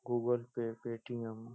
Google pay Paytm --